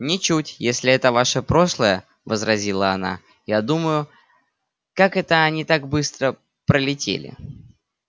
ничуть если это ваше прошлое возразила она я думаю как это они так быстро пролетели